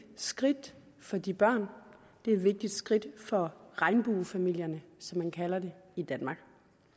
skridt for de børn det er et vigtigt skridt for regnbuefamilierne som man kalder det i danmark